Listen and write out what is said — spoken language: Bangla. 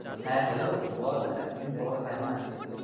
হ্যাঁ hello বল এত দিন পর কেমন আছিস?